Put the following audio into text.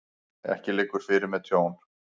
Ekki liggur fyrir með tjón